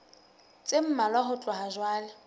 tse mmalwa ho tloha jwale